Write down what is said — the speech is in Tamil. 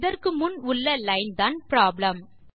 இதற்கு முன் உள்ள லைன் தான் ப்ராப்ளம்